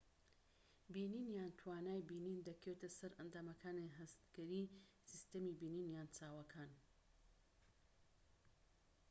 بینین یان توانای بینین دەکەوێتە سەر ئەندامەکانی هەستگەری سیستەمی بینین یان چاوەکان